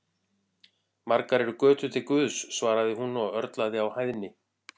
Margar eru götur til Guðs, svaraði hún og örlaði á hæðni.